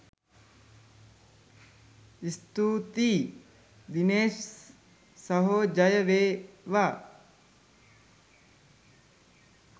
ස්තුතියි දිනේෂ් සහෝ ජය වේවා!